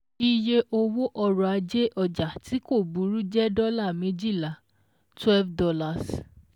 Iye owó ọ̀rọ̀ ajé ọjà tí kò burú jẹ́ dọ́ọ́là méjìlá twelve dollar